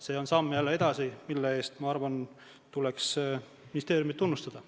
See on jälle samm edasi, mille eest, ma arvan, tuleks ministeeriumit tunnustada.